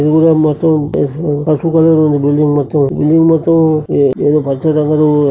దూరం మొత్తం పసుపు పసుపు కలర్ లో ఉంది బిల్డింగ్ మొత్తం బిల్డింగ్ మొత్తం ఏ--ఏదో పచ్చరంగుల్లో